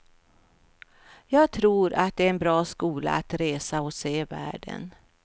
Jag tror att det är en bra skola att resa och se världen.